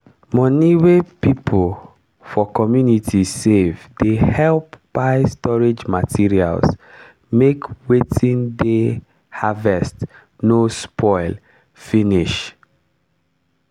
moni wey people for community save dey help buy storage materials make wetin dey harvest no spoil finish.